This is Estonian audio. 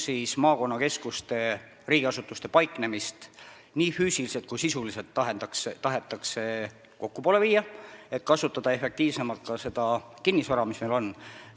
Maakonnakeskustes tahetakse riigiasutuste paiknemist nii füüsiliselt kui ka sisuliselt rohkem kokku viia, et kasutada efektiivsemalt kinnisvara, mis meil on.